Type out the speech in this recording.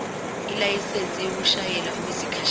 ilayisensi yokushayela okwesikhashana